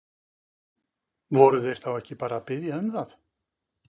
Voru þeir ekki bara að biðja um það?